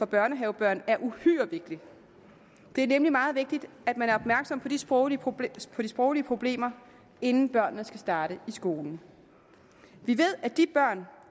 børnehavebørn er uhyre vigtig det er nemlig meget vigtigt at man er opmærksom på de sproglige problemer sproglige problemer inden børnene skal starte i skolen vi ved at de børn